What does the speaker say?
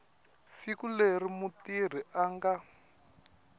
siku leri mutirhi a nga